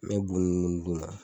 N mɛ bu nunu kɔni d'u ma.